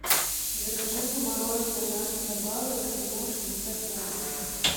закажи мне мороженое наша забава эскимо шестьдесят грамм